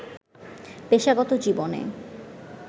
পেশাগত জীবনে